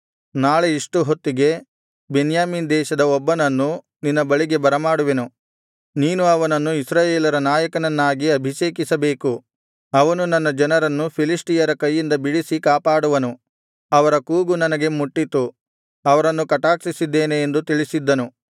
ನಾಳೆ ಇಷ್ಟು ಹೊತ್ತಿಗೆ ಬೆನ್ಯಾಮೀನ್ ದೇಶದ ಒಬ್ಬನನ್ನು ನಿನ್ನ ಬಳಿಗೆ ಬರಮಾಡುವೆನು ನೀನು ಅವನನ್ನು ಇಸ್ರಾಯೇಲರ ನಾಯಕನನ್ನಾಗಿ ಅಭಿಷೇಕಿಸಬೇಕು ಅವನು ನನ್ನ ಜನರನ್ನು ಫಿಲಿಷ್ಟಿಯರ ಕೈಯಿಂದ ಬಿಡಿಸಿ ಕಾಪಾಡುವನು ಅವರ ಕೂಗು ನನಗೆ ಮುಟ್ಟಿತು ಅವರನ್ನು ಕಟಾಕ್ಷಿಸಿದ್ದೇನೆ ಎಂದು ತಿಳಿಸಿದ್ದನು